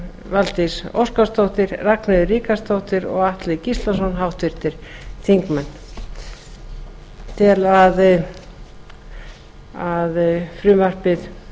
valdís óskarsdóttir ragnheiður ríkharðsdóttir og atli gíslason háttvirtir þingmenn ég tel að frumvarpið